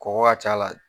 Kɔgɔ ka ca a la